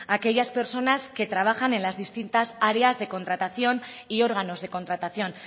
aquellas personas que trabajan en las distintas áreas de contratación y órganos de contratación